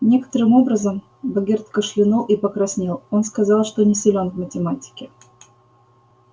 некоторым образом богерт кашлянул и покраснел он сказал что не силен в математике